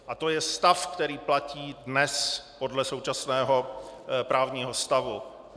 A to je stav, který platí dnes podle současného právního stavu.